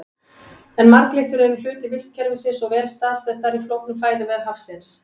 En marglyttur eru hluti vistkerfisins og vel staðsettar í flóknum fæðuvef hafsins.